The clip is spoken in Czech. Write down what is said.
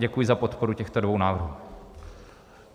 Děkuji za podporu těchto dvou návrhů.